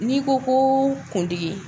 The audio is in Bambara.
N'i ko ko kundigi